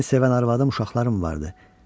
Məni sevən arvadım, uşaqlarım vardı.